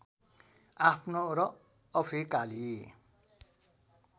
आफ्नो र अफ्रिकाली